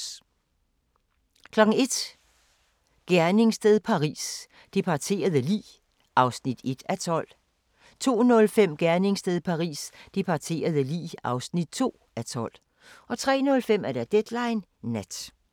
01:00: Gerningssted Paris: Det parterede lig (1:12) 02:05: Gerningssted Paris: Det parterede lig (2:12) 03:05: Deadline Nat